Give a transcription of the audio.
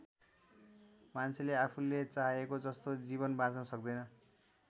मान्छेले आफूले चाहेको जस्तो जीवन बाँच्न सक्दैन।